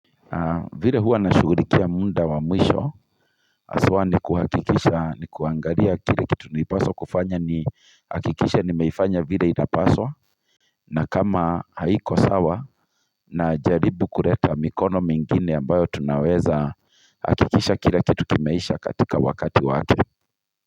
Vile huwa na shugurikia muda wa mwisho haswa nikuhakikisha ni kuangaria kile kitu nipaswa kufanya ni hakikisha nimefanya vile inapaswa na kama haiko sawa na jaribu kureta mikono mingine ambayo tunaweza hakikisha kile kitu kimeisha katika wakati wake.